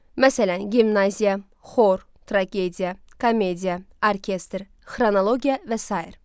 Məsələn, gimnaziya, xor, tragediya, komediya, orkestr, xronologiya və sair.